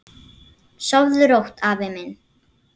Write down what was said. Sofðu rótt, afi minn.